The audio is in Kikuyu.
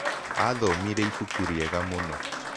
Aathomire ibuku rĩega mũno.